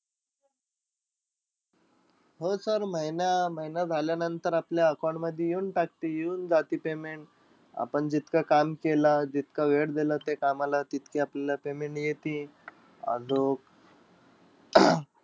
हो sir महिना अं महिना झाल्यानंतर आपल्या account मधी येऊन टाकती. येऊन जाती payment. आपण जितकं काम केलं, जितकं वेळ दिलं ते कामाला, तितकं आपल्याला payment येती. आजूक